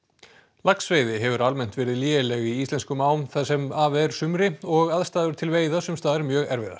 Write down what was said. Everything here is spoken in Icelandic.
laxveiði hefur almennt verið léleg í íslenskum ám það sem af er sumri og aðstæður til veiða sums staðar mjög erfiðar